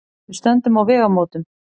Við stöndum á vegamótum.